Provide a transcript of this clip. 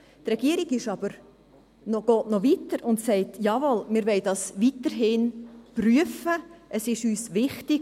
Die Regierung geht aber noch weiter und sagt: «Jawohl, wir wollen dies weiterhin prüfen, es ist uns wichtig.